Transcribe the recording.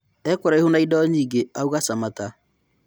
ĩkuraihu na indo nyingĩ," auga Samata.